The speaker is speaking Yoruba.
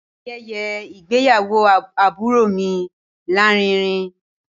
Ayẹyẹ ìgbéyàwó àbúrò mi láàrínrin